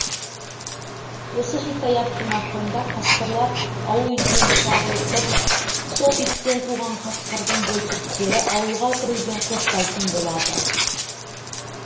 осы хикаяттың ақырында қасқырлар ауыл итімен шағылысып сол иттен туған қасқырдың бөлтіріктері ауылға кіруден қорықпайтын болады